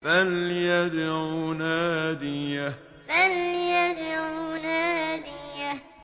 فَلْيَدْعُ نَادِيَهُ فَلْيَدْعُ نَادِيَهُ